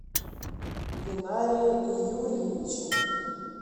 линаре юрьевиче